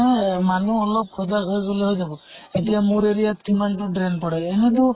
না মানুহ অলপ সজাগ হৈ গʼলে হৈ যাব। এতিয়া মোৰ area ত কিমান টো drain পৰে, এনেটো